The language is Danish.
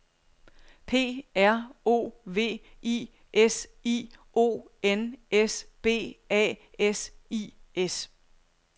P R O V I S I O N S B A S I S